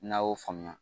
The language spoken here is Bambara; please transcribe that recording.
N'a y'o faamuya